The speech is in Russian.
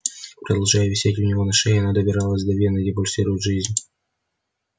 продолжая висеть у него на шее она добиралась до вены где пульсирует жизнь